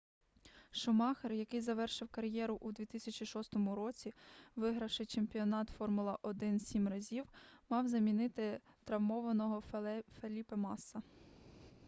шумахер який завершив кар'єру у 2006 році вигравши чемпіонат формула-1 сім разів мав замінити травмованого феліпе масса